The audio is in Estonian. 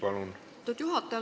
Lugupeetud juhataja!